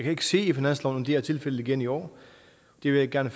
ikke se i finansloven at det er tilfældet igen i år det vil jeg gerne